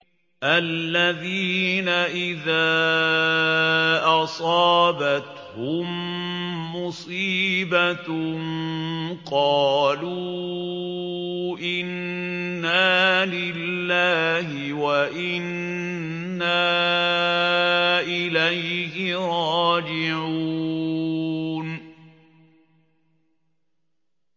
الَّذِينَ إِذَا أَصَابَتْهُم مُّصِيبَةٌ قَالُوا إِنَّا لِلَّهِ وَإِنَّا إِلَيْهِ رَاجِعُونَ